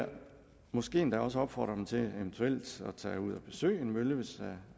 måske endda også opfordre til eventuelt at tage ud og besøge en mølle hvis